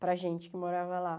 Para a gente que morava lá.